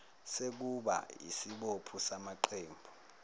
sekuba yisibopho samaqembu